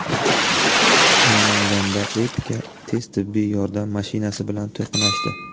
Namanganda Epica tez tibbiy yordam mashinasi bilan to‘qnashdi.